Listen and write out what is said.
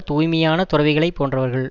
தூய்மையான துறவிகளைப் போன்றவர்கள்